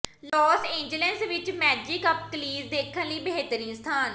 Las Angeles ਵਿੱਚ magic up close ਦੇਖਣ ਲਈ ਬਿਹਤਰੀਨ ਸਥਾਨ